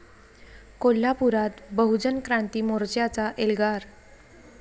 कोल्हापुरात बहुजन क्रांती मोर्च्याचा एल्गार